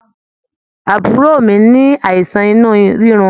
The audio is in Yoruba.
Àbúrò mí ní àìsàn inú rirun.